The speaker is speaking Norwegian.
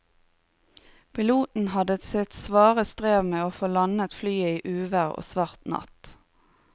Piloten hadde sitt svare strev med å få landet flyet i uvær og svart natt.